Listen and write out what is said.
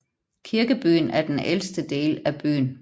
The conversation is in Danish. Kirkebyen er den ældste del af byen